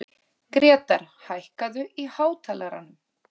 Grétar, hækkaðu í hátalaranum.